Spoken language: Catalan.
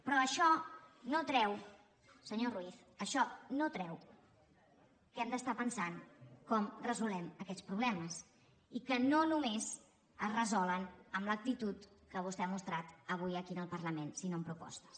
però això no treu senyor ruiz això no treu que hem d’estar pensant com resolem aquests problemes i que no només es resolen amb l’actitud que vostè ha mostrat avui aquí en el parlament sinó amb propostes